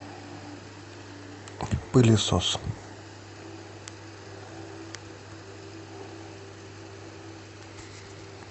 пылесос